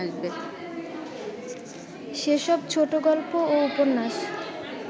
সেসব ছোটগল্প ও উপন্যাস